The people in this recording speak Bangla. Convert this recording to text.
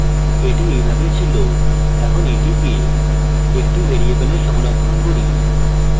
এটি এইভাবে ছিল এখন এটিকে একটি ভ্যারিয়েবলে সংরক্ষণ করি